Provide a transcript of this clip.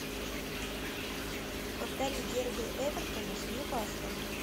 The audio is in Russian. повтори дерби эвертона с нью каслом